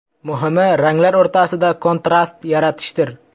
Muhimi, ranglar o‘rtasida kontrast yaratishdir.